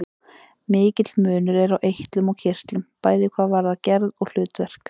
Mikill munur er á eitlum og kirtlum, bæði hvað varðar gerð og hlutverk.